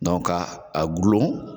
ka a gulon